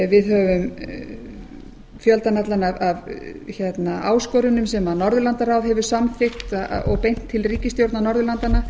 við höfum fjöldann allan af áskorunum sem norðurlandaráð hefur samþykkt og beint til ríkisstjórna norðurlandanna